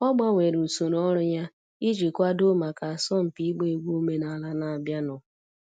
Ọ gbanwere usoro ọrụ ya iji kwadoo maka asọmpi ịgba egwu omenala na-abịanụ.